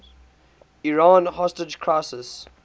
iran hostage crisis